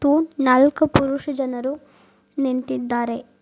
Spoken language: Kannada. ಮತ್ತು ನಾಲ್ಕ್ ಪುರುಷ ಜನರು ನಿಂತಿದ್ದಾರೆ.